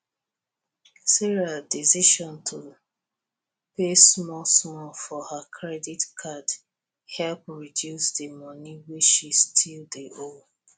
sarah decision to dey pay small small for her credit card help reduce di money wey she still dey owe